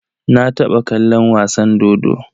Na taɓa kallon wasa dodo.